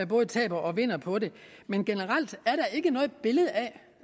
både taber og vinder på det men generelt er der ikke noget billede af